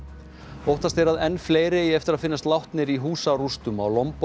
óttast er að enn fleiri eigi eftir að finnast látnir í húsarústum á